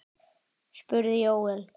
spurði Jóel.